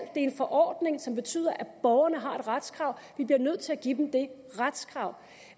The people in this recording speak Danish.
en forordning som betyder at borgerne har et retskrav vi bliver nødt til at give dem det retskrav